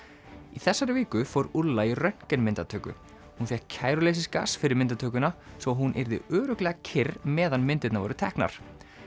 í þessari viku fór í röntgen myndatöku hún fékk fyrir myndatökuna svo að hún yrði örugglega kyrr meðan myndirnar voru teknar